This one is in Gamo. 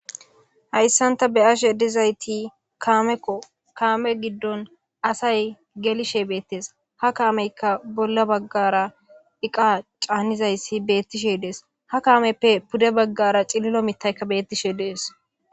Haysan ta beyashe dizayti kameko kame gidon asay gelishe beetesha kameyka bolla bagara eqa canizaysi beetishe dees ha kameppe pude bagara cililo mitayka betishe dees.